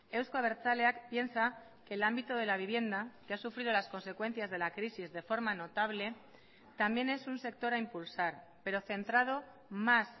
euzko abertzaleak piensa que el ámbito de la vivienda que ha sufrido las consecuencias de la crisis de forma notable también es un sector a impulsar pero centrado más